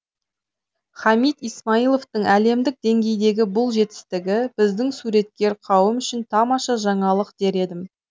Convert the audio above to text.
хамид исмайловтың әлемдік деңгейдегі бұл жетістігі біздің суреткер қауым үшін тамаша жаңалық дер едім